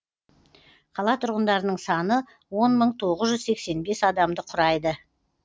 қала тұрғындарының саны он мың тоғыз жүз сексен бес адамды құрайды